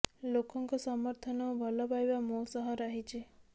ଲୋକଙ୍କ ସମର୍ଥନ ଓ ଭଲ ପାଇବା ମୋ ସହ ରହିଛି